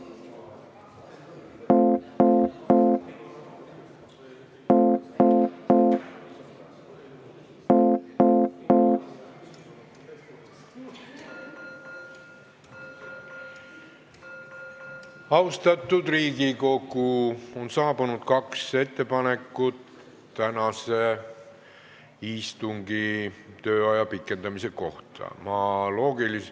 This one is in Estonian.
On saabunud kaks ettepanekut tänase istungi tööaja pikendamise kohta.